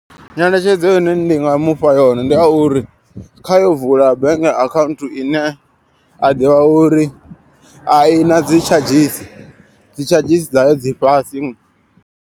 Nyeletshedzo ine nda nga mufha yone ndi ya uri kha yo vula bank account ine a ḓivha uri a i na dzi tshadzhisi dzi tshadzhisi dza ya dzi fhasi.